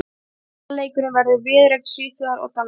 Opnunarleikurinn verður viðureign Svíþjóðar og Danmerkur.